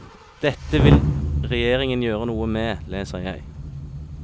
Dette vil regjeringen gjøre noe med, leser jeg.